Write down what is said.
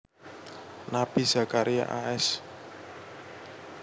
Nabi Zakaria a s